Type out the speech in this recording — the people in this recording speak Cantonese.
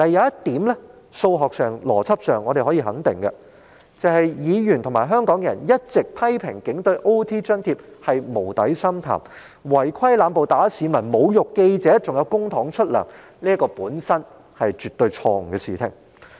不過，在數學和邏輯上，我們可以肯定一點，議員和香港人一直批評警隊的加班津貼有如無底深潭，而在違規濫暴、毆打市民和侮辱記者之下，仍動用公帑向他們發薪，這本身是絕對錯誤的事情。